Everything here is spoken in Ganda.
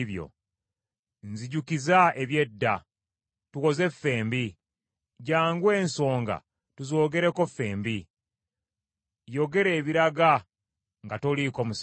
Nzijukiza eby’edda, tuwoze ffembi, jjangu ensonga tuzoogereko fembi, yogera ebiraga nga toliiko musango.